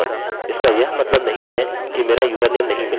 इसका यह मतलब नहीं है कि मेरा यूज़रनेम नहीं मिला